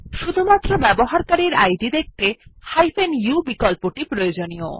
শুধুমাত্র ব্যবহারকারীর ইদ দেখতে u বিকল্পটি প্রয়োজনীয়